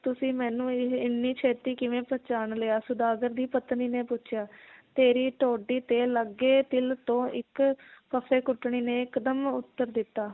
ਤੁਸੀਂ ਮੈਨੂੰ ਇਹ ਇੰਨੀ ਛੇਤੀ ਕਿਵੇਂ ਪਹਿਚਾਣ ਲਿਆ ਸੌਦਾਗਰ ਦੀ ਪਤਨੀ ਨੇ ਪੁੱਛਿਆ ਤੇਰੀ ਥੋਡੀ ਤੇ ਲੱਗੇ ਤਿਲ ਤੋਂ ਇੱਕ ਫੱਫੇ ਕੁੱਟਣੀ ਨੇ ਇਕਦਮ ਉੱਤਰ ਦਿੱਤਾ